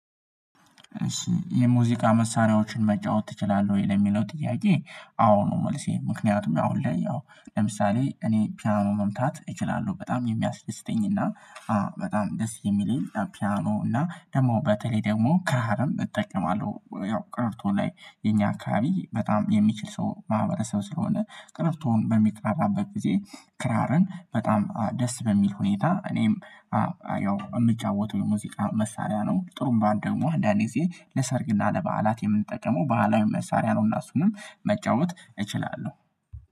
የሙዚቃ መሳሪያዎችን መጫወት ትችላለህ ወይ? ለሚለው ጥያቄ አዎ ነው መልሴ ምክንያቱም ያው አሁን ላይ ያው ለምሳሌ እኔ ፒያኖ መምታት እችላለሁ በጣም የሚያስደስተኝ እና አ በጣም ደስ የሚለኝ ፒያኖ እና ደግሞ በተለይ ደግሞ ካሃርም እጠቀማለሁ ያው ቀረርቶ ላይ የኛ አካባቢ በጣም የሚችል ሰው ማህበረሰብ ስለሆነ ቀረርቶን በሚቃራበት ጊዜ ክራርን በጣም ደስ በሚል ሁኔታ እኔም ያው የምጫወተው የሙዚቃ መሳሪያ ነው ጥሩም ባን ደግሞ አንዳንዴ ጊዜ ለሰርግና ለበዓላት የምንጠቀመው በዓላዊ መሳሪያ ነው እና እሱንም መጫወት እችላለሁ